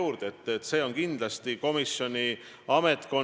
Meie erakond ja mina isiklikult kõige rohkem õigusriigi eest seisamegi.